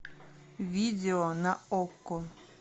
видео на окко